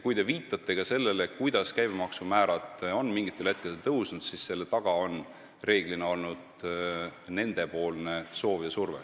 Kui te viitasite sellele, et käibemaksu määrad on mingitel hetkedel tõusnud, siis enamasti on selle taga olnud just nende soov ja surve.